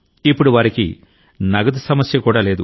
ఇప్పుడు వారికి నగదు సమస్య కూడా లేదు